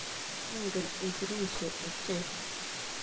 Ingen isirisye ochei.